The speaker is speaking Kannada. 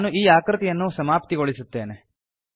ನಾನು ಈ ಆಕೃತಿಯನ್ನು ಸಮಾಪ್ತಿಗೊಳಿಸುತ್ತೇನೆ